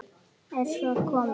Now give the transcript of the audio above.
Er svo komið?